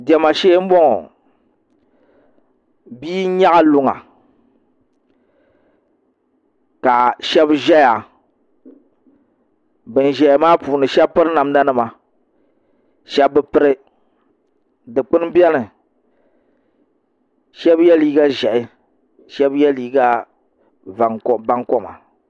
Diɛma shee n boŋo bia nyaɣa luŋa paɣa shab ʒɛya bin ʒɛya maa puuni shab piri namda nima shab bi piri Dikpuni biɛni shab yɛ liiga ʒiɛhi shab yɛ liiga bankoma